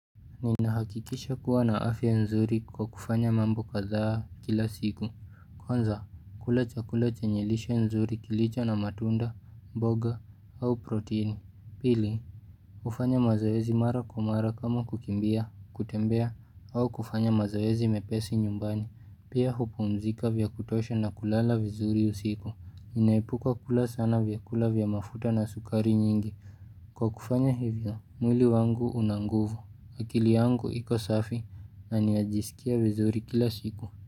Ninahakikisha kuwa na afya nzuri kwa kufanya mambo kadhaa kila siku Kwanza kula chakula chenye lishe nzuri kilicho na matunda, mboga au protini. Pili kufanya mazoezi mara kwa mara kama kukimbia, kutembea au kufanya mazoezi mepesi nyumbani. Pia mapumzika vya kutosha na kulala vizuri usiku UInaepuka kula sana vyakula vya mafuta na sukari nyingi Kwa kufanya hivyo, mwili wangu una nguvu akili yangu iko safi na ni najiskia vizuri kila siku.